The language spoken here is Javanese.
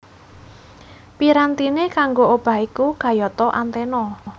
Pirantiné kanggo obah iku kayata antena